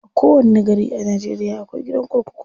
A kowanni gari a Najeriya akwai gidan kurkuku.